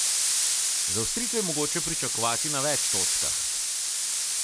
Zaostritve je mogoče pričakovati na več točkah.